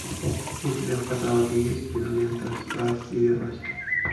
у тебя в каталоге есть кинолента страсть и верность